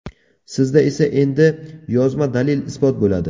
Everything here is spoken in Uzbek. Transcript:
Sizda esa endi yozma dalil-isbot bo‘ladi.